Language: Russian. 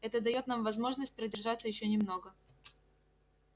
это даёт нам возможность продержаться ещё немного